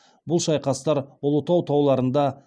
бұл шайқастар ұлытау тауларында